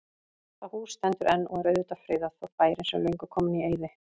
Það hús stendur enn og er auðvitað friðað, þótt bærinn sé löngu kominn í eyði.